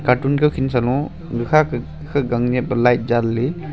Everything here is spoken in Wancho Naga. cartoon kawkhen sa low gakha ke light janley.